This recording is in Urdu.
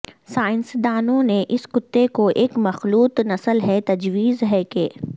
سائنسدانوں نے اس کتے کو ایک مخلوط نسل ہے تجویز ہے کہ